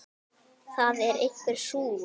Það er einhver súgur.